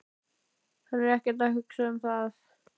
Hann er ekkert að hugsa um það.